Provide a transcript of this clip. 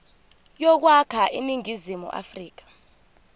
yokwakha iningizimu afrika